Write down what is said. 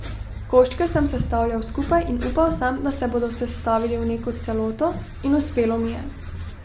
Koščke sem sestavljal skupaj in upal sem, da se bodo sestavili v neko celoto in uspelo mi je.